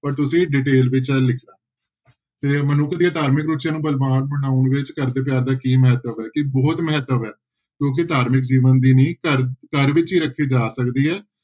ਪਰ ਤੁਸੀਂ detail ਵਿੱਚ ਇਹ ਤੇ ਮਨੁੱਖ ਦੇ ਧਾਰਮਿਕ ਰੁਚੀਆਂ ਨੂੰ ਬਲਵਾਨ ਬਣਾਉਣ ਵਿੱਚ ਘਰਦੇ ਪਿਆਰ ਦਾ ਕੀ ਮਹੱਤਵ ਹੈ ਕਿ ਬਹੁਤ ਮਹੱਤਵ ਹੈ ਕਿਉਂਕਿ ਘਰ ਵਿੱਚ ਜੀਵਨ ਦੀ ਨੀਂਹ ਘਰ ਘਰ ਵਿੱਚ ਹੀ ਰੱਖੀ ਜਾ ਸਕਦੀ ਹੈ।